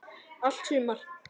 Allt sumar